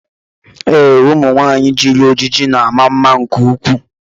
Ee, ụmụ nwanyị jiri ojiji na ama mma nke ukwuu.